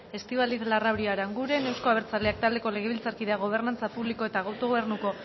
estíbaliz larrauri aranguren euzko abertzaleak taldeko legebiltzarkideak gobernantza publiko eta autogobernuko